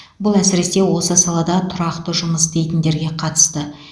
бұл әсіресе осы салада тұрақты жұмыс істейтіндерге қатысты